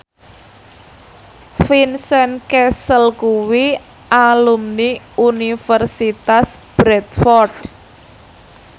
Vincent Cassel kuwi alumni Universitas Bradford